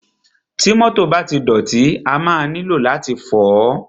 Ti mọ́tọ̀ bá ti dọ̀tí, a máa nílò láti fọ̀ọ́.